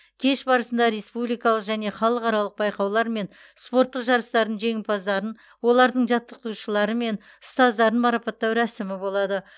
кеш барысында республикалық және халықаралық байқаулар мен спорттық жарыстардың жеңімпаздарын олардың жаттықтырушылары мен ұстаздарын марапаттау рәсімі болады